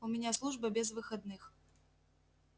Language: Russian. у меня служба без выходных